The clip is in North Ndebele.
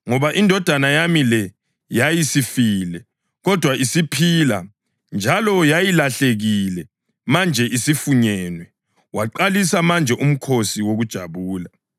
Ngoba indodana yami le yayisifile, kodwa isiphila njalo; yayilahlekile manje isifunyenwe.’ Waqalisa manje umkhosi wokujabula.